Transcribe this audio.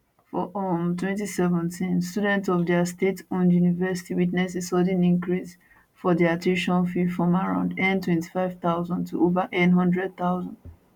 for um 2017 students of di state owned university witness a sudden increase for dia tuition fee from around n25000 to over n100000